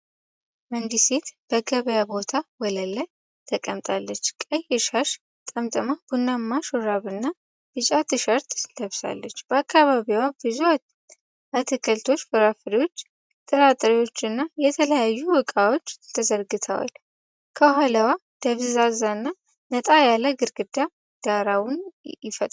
አንዲት ሴት በገበያ ቦታ ወለል ላይ ተቀምጣለች። ቀይ ሻሽ ጠምጥማ ቡናማ ሹራብና ቢጫ ትሸርት ለብሳለች። በአካባቢዋ ብዙ አትክልቶች፣ ፍራፍሬዎች፣ ጥራጥሬዎች እና የተለያዩ እቃዎች ተዘርግተዋል። ከኋላዋ ደብዛዛና ነጣ ያለ ግድግዳ ዳራውን ይፈጥራል።